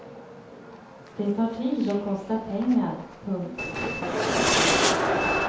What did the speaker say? Det tar tid och kostar pengar. punkt